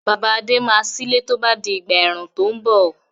Bàbá Adé máa sílé tó bá di ìgbà ẹ̀rùn tó ń bọ̀.